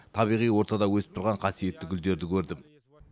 табиғи ортада өсіп тұрған қасиетті гүлдерді көрдім